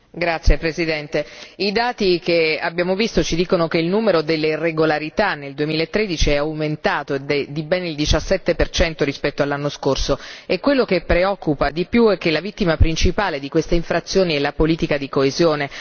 Signor Presidente, onorevoli colleghi, i dati che abbiamo visto ci dicono che il numero delle irregolarità nel 2013 è aumentato di ben il 17 rispetto all'anno scorso e quello che preoccupa di più è che la vittima principale di queste infrazioni è la politica di coesione.